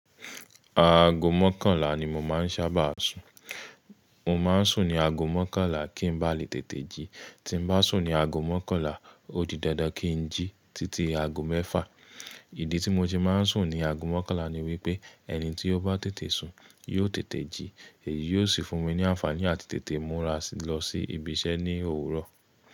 Aago mọ́kànlá ni mo máa ń sábà sùn. Mo máa ń sùn ní aago mọ́kànlá kí n ba lè tètè jí. Tí n bá sùn ní aago mọ́kànlá, ó di dandan kí n jí títí aago mẹ́fà. Ìdí tí mo ṣe máa ń sùn ní aago mọ́kànlá ni wípé ẹni tí ó bá tètè sun yóò tètè jí, èyí yóò sì fún mi ní àǹfààní àti tètè múra lọ sí ibi iṣẹ́ ní òwúrọ̀.